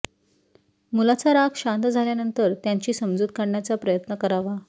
मुलाचा राग शांत झाल्यानंतर त्यांची समजूत काढण्याचा प्रयत्न करावा